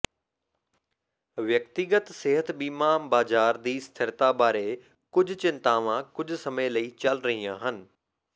ਵਿਅਕਤੀਗਤ ਸਿਹਤ ਬੀਮਾ ਬਾਜ਼ਾਰ ਦੀ ਸਥਿਰਤਾ ਬਾਰੇ ਕੁਝ ਚਿੰਤਾਵਾਂ ਕੁਝ ਸਮੇਂ ਲਈ ਚਲ ਰਹੀਆਂ ਹਨ